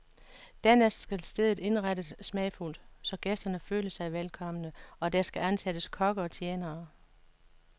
Dernæst skal stedet indrettes smagfuldt, så gæsterne føler sig velkomne, og der skal ansættes kokke og tjenere.